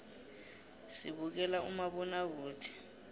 sibukela umabonakude